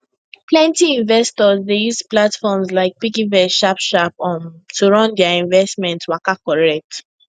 plenty investors dey use platforms like piggyvest sharp sharp um to run their investment waka correct